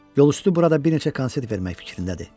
Yolüstü burada bir neçə konsert vermək fikrindədir.